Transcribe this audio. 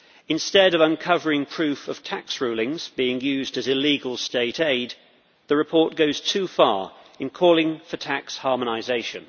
instead of uncovering proof of tax rulings being used as illegal state aid, the report goes too far in calling for tax harmonisation.